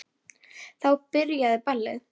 Þá byrjaði ballið.